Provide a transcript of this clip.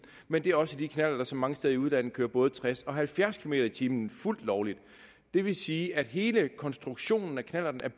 men det er også de knallerter som mange steder i udlandet kører både tres og halvfjerds kilometer per time fuldt lovligt det vil sige at hele konstruktionen af knallerten